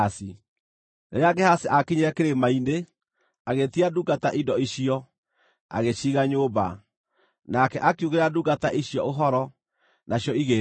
Rĩrĩa Gehazi aakinyire kĩrĩma-inĩ, agĩĩtia ndungata indo icio, agĩciiga nyũmba. Nake akiugĩra ndungata icio ũhoro, nacio igĩĩthiĩra.